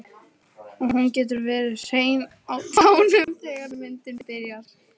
Og hún getur verið hrein á tánum þegar myndin byrjar.